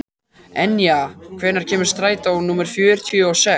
Enja, hvenær kemur strætó númer fjörutíu og sex?